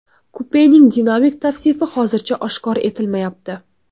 Kupening dinamik tavsifi hozircha oshkor etilmayapti.